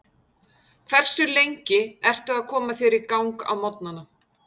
Hversu lengi ertu að koma þér í gang á morgnanna?